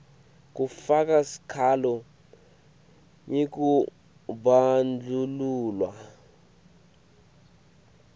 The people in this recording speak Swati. kufaka sikhalo ngekubandlululwa